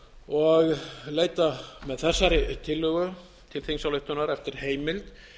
og leita með þessari tillögu til þingsályktunar eftir heimild